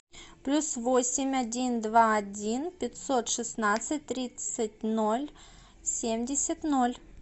плюс восемь один два один пятьсот шестнадцать тридцать ноль семьдесят ноль